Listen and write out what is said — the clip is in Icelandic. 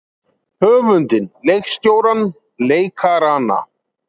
Höfundinn leikstjórann leikarana?